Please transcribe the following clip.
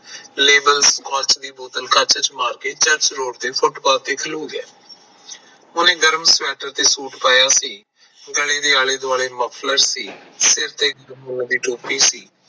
ਫੁਟਪਾਕ ਤੇ ਖਲੋ ਗਿਆ ਉਹਨੇ ਗਰਮ ਸਵੈਟਰ ਤੇ ਸੂਟ ਪਾਇਆ ਸੀ ਗਲੇ ਦੇ ਆਲੇ ਦੁਆਲੇ ਮਫਰਲ ਸੀ ਤੇ ਸਿਰ ਤੇ ਇੱਕ ਟੋਪੀ ਸੀ